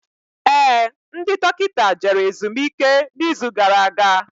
Éè, ndị dọkịta jere ezumike na izu gara aga